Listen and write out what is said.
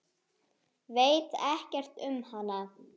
Veit ekkert um hana.